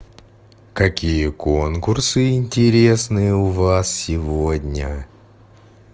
какие конкурсы интересные у вас сегодня